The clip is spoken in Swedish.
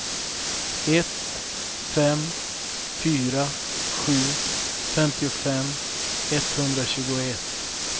ett fem fyra sju femtiofem etthundratjugoett